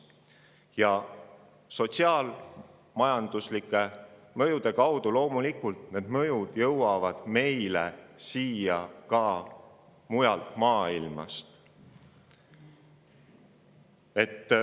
Ja sotsiaal-majanduslike mõjude kaudu jõuavad mõjud meile loomulikult Eestisse ka mujalt maailmast.